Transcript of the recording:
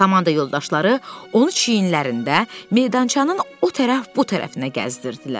Komanda yoldaşları onu çiynlərində meydançanın o tərəf bu tərəfinə gəzdirirdilər.